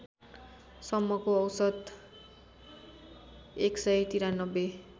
सम्मको औसत १९३